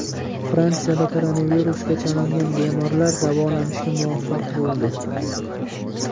Fransiyada koronavirusga chalingan bemorlar davolanishga muvaffaq bo‘ldi .